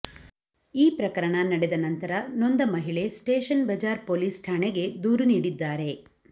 ಈ ಪ್ರಕರಣ ನಡೆದ ನಂತರ ನೊಂದ ಮಹಿಳೆ ಸ್ಟೇಷನ್ ಬಜಾರ್ ಪೊಲೀಸ್ ಠಾಣೆಗೆ ದೂರು ನೀಡಿದ್ದಾರೆ